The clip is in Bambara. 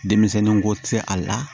Denmisɛnninko tɛ a la